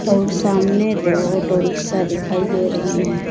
और सामने दो ऑटो रिक्शा दिखाई दे रही है।